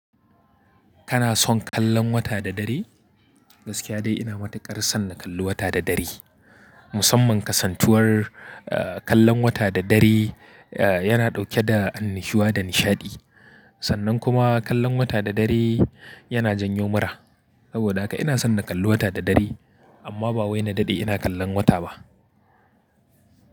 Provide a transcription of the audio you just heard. Kana son kallon wata da dare? Gaskiya dai ina matuƙar son na kalli wata da dare. Musamman kasantuwar, eh, kallon wata da dare, eh, yana ɗauke da annushuwa da nishaɗi. Sannan kuma kallon wata da dare yana janyo mura. Saboda haka ina son na kalli wata da dare, amma ba wai na daɗe ina kallon wata ba.